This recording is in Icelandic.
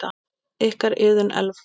Ykkar, Iðunn Elfa.